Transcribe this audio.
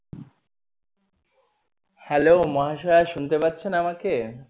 hello মহাশয়া শুনতে পাচ্ছেন আমাকে?